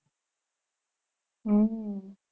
હમ